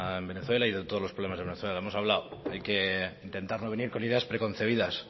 en venezuela y de todos los problemas de venezuela hemos hablado de que intentar no venir con ideas preconcebidas